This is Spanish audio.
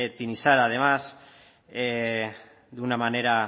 tinixara además de una manera